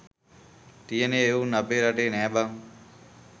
තියන එවුන් අපේ රටේ නෑ බං